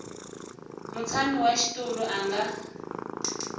mutshami wa xitulu a nga